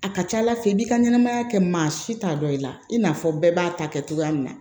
A ka ca ala fɛ i b'i ka ɲɛnɛmaya kɛ maa si t'a dɔn i la i n'a fɔ bɛɛ b'a ta kɛ cogoya min na